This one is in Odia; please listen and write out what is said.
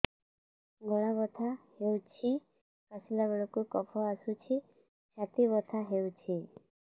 ଗଳା ବଥା ହେଊଛି କାଶିଲା ବେଳକୁ କଫ ଆସୁଛି ଛାତି ବଥା ହେଉଛି